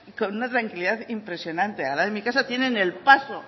con una tranquilidad impresionante al lado de mi casa tienen el paso